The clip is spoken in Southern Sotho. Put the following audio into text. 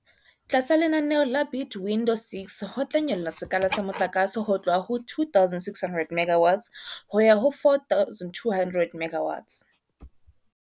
Tlasa lenaneo la Bid Window 6 ho tla nyollwa sekala sa motlakase ho tloha ho 2 600 MW ho ya ho 4 200 MW.